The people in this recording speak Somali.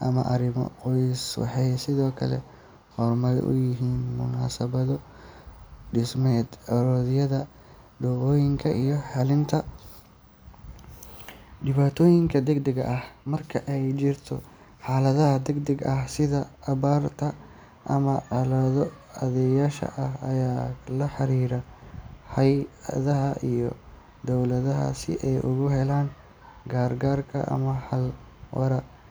ama arrimo qoys. Waxay sidoo kale hormuud u yihiin munaasabado dhaqameed, aroosyada, ducooyinka iyo xalinta dhibaatooyinka degdegga ah. Marka ay jirto xaalad degdeg ah sida abaar ama colaado, odayaasha ayaa la xiriira hay’adaha iyo dowladda si ay ugu helaan gargaar ama xal waara.